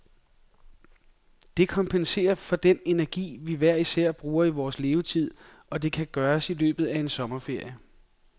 Det kompenserer for den energi, vi hver især bruger i vores levetid, og det kan gøres i løbet af en sommerferie.